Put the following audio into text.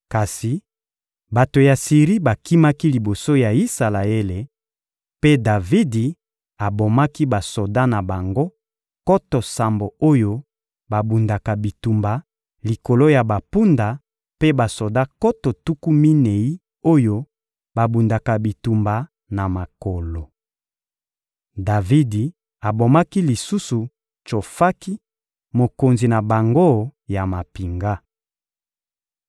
Kasi bato ya Siri bakimaki liboso ya Isalaele, mpe Davidi abomaki basoda na bango, nkoto sambo oyo babundaka bitumba likolo ya bampunda mpe basoda nkoto tuku minei oyo babundaka bitumba na makolo. Davidi abomaki lisusu Tsofaki, mokonzi na bango ya mampinga.